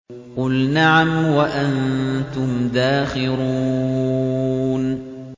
قُلْ نَعَمْ وَأَنتُمْ دَاخِرُونَ